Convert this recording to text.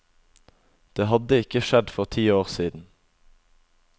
Det hadde ikke skjedd for ti år siden.